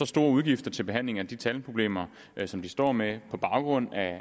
store udgifter til behandling af de tandproblemer som de står med på baggrund af